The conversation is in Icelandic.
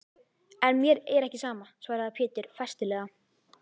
En mér er ekki sama, svaraði Pétur festulega.